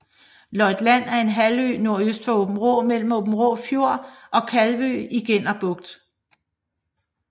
Løjt Land er en halvø nordøst for Aabenraa mellem Aabenraa Fjord og Kalvø i Genner Bugt